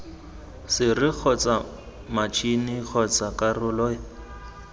sere kgotsa matšhini kgotsa karolo